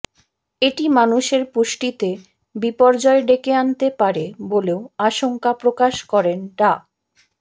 এটি মানুষের পুষ্টিতে বিপর্যয় ডেকে আনতে পারে বলেও আশঙ্কা প্রকাশ করেন ডা